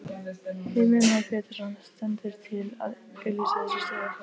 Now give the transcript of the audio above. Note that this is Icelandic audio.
Heimir Már Pétursson: Stendur til að auglýsa þessa stöðu?